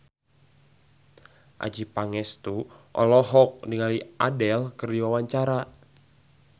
Adjie Pangestu olohok ningali Adele keur diwawancara